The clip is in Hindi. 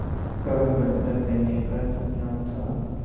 का दर्ज़ा देने का सपना था